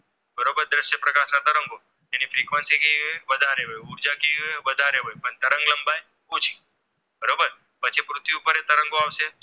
તેની Frequency કેવી હોય છે કે વધારે હોય ઉર્જા કેવી હોય વધારે હોય તરંગ લંબાઈ ઓછી બરોબર પછી પૃથ્વી ઉપર તરંગો આવશે